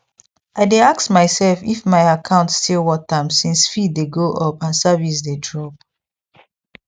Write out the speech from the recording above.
i dey ask myself if my account still worth am since fee dey go up and service dey drop